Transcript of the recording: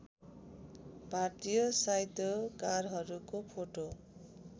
भारतीय साहित्यकारहरूको फोटो